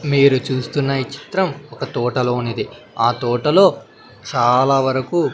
మీరు చూస్తున్న ఈ చిత్రం ఒక తోట లోనిది ఆ తోట లో చాలా వరుకు--